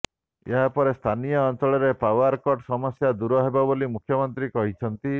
ଏହାପରେ ସ୍ଥାନୀୟ ଅଞ୍ଚଳରେ ପାଓ୍ୱାର କଟ ସମସ୍ୟା ଦୂର ହେବ ବୋଲି ମୁଖ୍ୟମନ୍ତ୍ରୀ କହିଛନ୍ତି